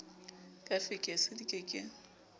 ka fekse di ke ke